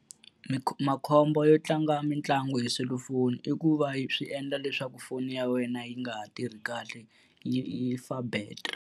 Makhombo yo tlanga mitlangu hi selufoni i ku va swi endla leswaku foni ya wena yi nga ha tirhi kahle yi yi fa battery.